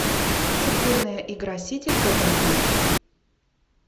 футбольная игра сити тоттенхэм